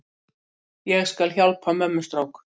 Ég skal hjálpa mömmustrák.